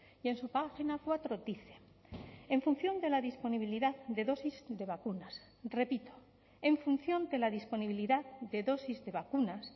y en su página cuatro dice en función de la disponibilidad de dosis de vacunas repito en función de la disponibilidad de dosis de